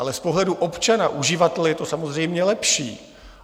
Ale z pohledu občana, uživatele je to samozřejmě lepší.